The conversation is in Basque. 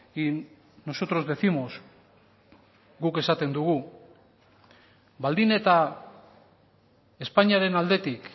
y nosotros décimos guk esaten dugu baldin eta espainiaren aldetik